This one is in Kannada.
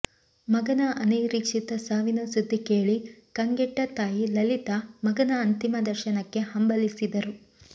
ಮಗನ ಅನಿರೀಕ್ಷಿತ ಸಾವಿನ ಸುದ್ದಿ ಕೇಳಿ ಕಂಗೆಟ್ಟ ತಾಯಿ ಲಲಿತಾ ಮಗನ ಅಂತಿಮ ದರ್ಶನಕ್ಕೆ ಹಂಬಲಿಸಿದರು